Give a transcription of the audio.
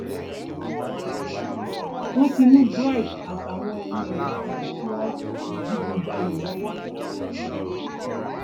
wọn ti mú bright àtàwọn ẹmẹwà rẹ tí wọn ń digunjalè lọwọ